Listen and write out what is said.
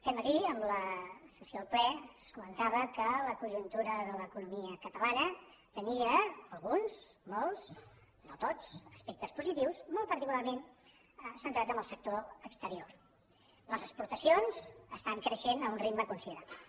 aquest matí en la sessió del ple es comentava que la conjuntura de l’economia catalana tenia alguns molts no tots aspectes positius molt particularment centrats en el sector exterior les exportacions estan creixent a un ritme considerable